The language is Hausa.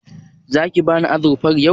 Zaki bani azurfar yau?